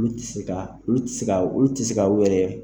Olu tɛ se ka olu tɛ se ka olu tɛ se ka o yɛrɛ.